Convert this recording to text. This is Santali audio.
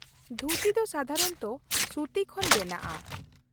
ᱫᱷᱩᱛᱤ ᱫᱚ ᱥᱟᱫᱷᱟᱨᱚᱱᱚᱛᱚ ᱥᱩᱛᱤ ᱠᱷᱚᱱ ᱵᱮᱱᱟᱜᱼᱟ ᱾